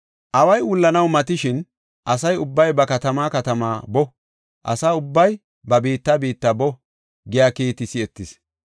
Away wullanaw matishin, “Asa ubbay ba katamaa katamaa boo! Asa ubbay ba biitta biitta boo!” giya kiiti si7etis.